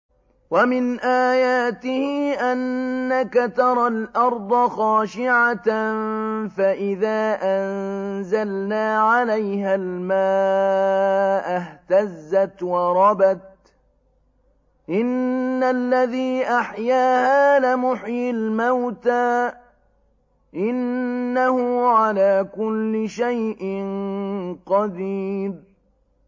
وَمِنْ آيَاتِهِ أَنَّكَ تَرَى الْأَرْضَ خَاشِعَةً فَإِذَا أَنزَلْنَا عَلَيْهَا الْمَاءَ اهْتَزَّتْ وَرَبَتْ ۚ إِنَّ الَّذِي أَحْيَاهَا لَمُحْيِي الْمَوْتَىٰ ۚ إِنَّهُ عَلَىٰ كُلِّ شَيْءٍ قَدِيرٌ